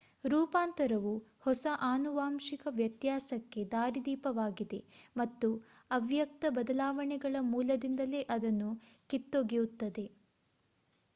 ರೂಪಾಂತರವು ಹೊಸ ಆನುವಾಂಶಿಕ ವ್ಯತ್ಯಾಸಕ್ಕೆ ದಾರಿದೀಪವಾಗಿದೆ ಮತ್ತು ಅವ್ಯಕ್ತ ಬದಲಾವಣೆಗಳ ಮೂಲದಿಂದಲೇ ಅದನ್ನು ಕಿತ್ತೊಗೆಯುತ್ತದೆ